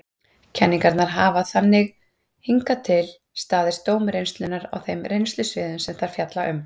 Kenningarnar hafa þannig hingað til staðist dóm reynslunnar á þeim reynslusviðum sem þær fjalla um.